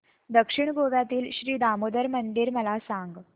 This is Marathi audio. दक्षिण गोव्यातील श्री दामोदर मंदिर मला सांग